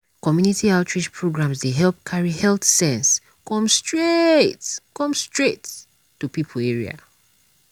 community outreach programs dey help carry health sense come straight come straight to people area.